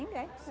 Ninguém, né?